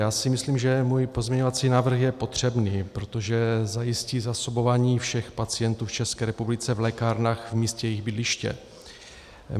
Já si myslím, že můj pozměňovací návrh je potřebný, protože zajistí zásobování všech pacientů v České republice v lékárnách v místě jejich bydliště.